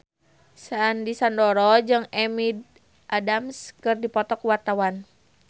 Sandy Sandoro jeung Amy Adams keur dipoto ku wartawan